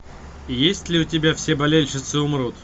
есть ли у тебя все болельщицы умрут